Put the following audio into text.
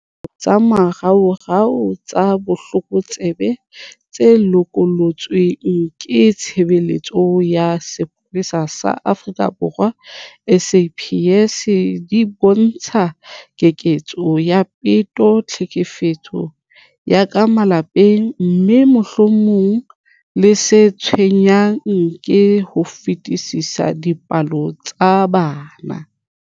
Dipalopalo tsa moraorao tsa botlokotsebe tse lokollotsweng ke Tshebeletso ya Sepolesa sa Afrika Borwa SAPS di bontsha keketseho ya peto, tlhekefetso ya ka malapeng, mme, mohlomong le se tshwenyang ka ho fetisisa, dipolao tsa bana.